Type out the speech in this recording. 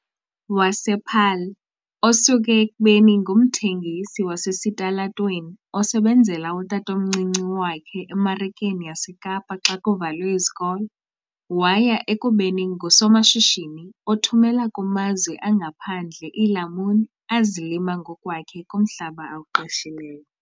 wasePaarl, osuke ekubeni ngumthengisi wasesitalatweni osebenzela utatomncinci wakhe eMarikeni yaseKapa xa kuvalwe izikolo waya ekubeni ngusomashishini othumela kumazwe angaphandle iilamuni azilima ngokwakhe kumhlaba awuqeshileyo.